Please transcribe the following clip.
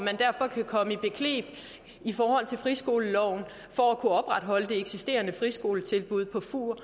og kan komme i bekneb i forhold til friskoleloven for at kunne opretholde det eksisterende friskoletilbud på fur